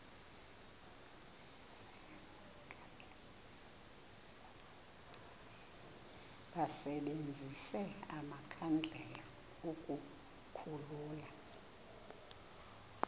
basebenzise amakhandlela ukukhulula